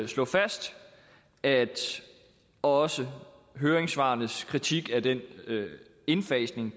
slå fast at også høringssvarenes kritik af den indfasning